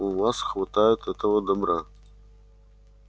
у вас хватает этого добра